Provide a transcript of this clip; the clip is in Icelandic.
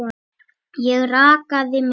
Ég rakaði mig.